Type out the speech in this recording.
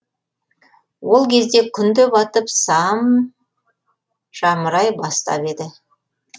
ол кезде күн де батып сам жамырай бастап еді